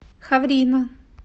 ховрино